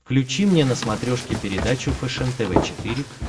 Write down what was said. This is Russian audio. включи мне на смотрешке передачу фэшен тв четыре к